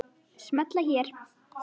Smella hér